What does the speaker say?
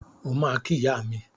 O ma ki iya mi.